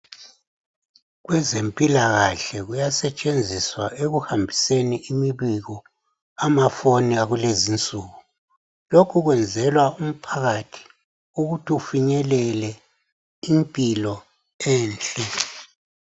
Kwezempilakahle kuyasetshenziswa ekuhambiseni imibiko amafoni akulezinsuku lokhu kwenzelwa umphakathi ukuthi ufinyelele impilo enhle